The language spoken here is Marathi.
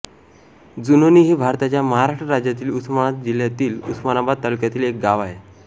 जुनोनी हे भारताच्या महाराष्ट्र राज्यातील उस्मानाबाद जिल्ह्यातील उस्मानाबाद तालुक्यातील एक गाव आहे